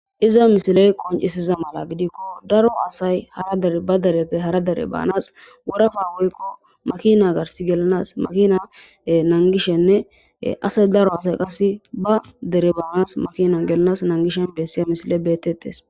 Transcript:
iza misiley qoncisiza mala gidikko daro asay hara drba dereppe hara dere baanas worafa woykko makina gars gelanas makina nangishenne asay daro asay qase ba dere baanas makina gelanas nangishen bessiya misile beetettes